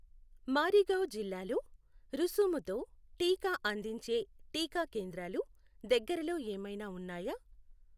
మారిగావ్ జిల్లాలో రుసుముతో టీకా అందించే టీకా కేంద్రాలు దగ్గరలో ఏమైనా ఉన్నాయా?